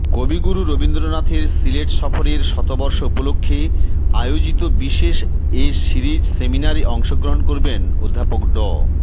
কবিগুরু রবীন্দ্রনাথের সিলেট সফরের শতবর্ষ উপলক্ষে আয়োজিত বিশেষ এ সিরিজ সেমিনারে অংশগ্রহণ করবেন অধ্যাপক ড